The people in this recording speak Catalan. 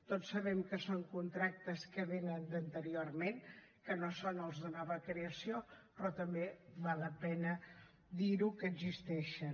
tots sabem que són contractes que vénen d’anteriorment que no són els de nova creació però també val la pena dir ho que existeixen